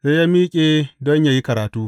Sai ya miƙe don yă yi karatu.